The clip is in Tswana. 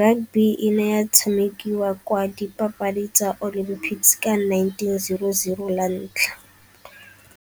Rugby e ne ya tshamekiwa kwa dipapadi tsa olympics ka nineteen zero zero la ntlha.